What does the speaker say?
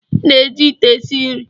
Ị na-eji ite esi nri